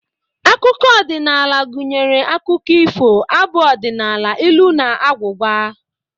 Akụkọ odịnaala gụnyere akụkọ ifo, abụ ọdịnaala, ilu na agwụgwa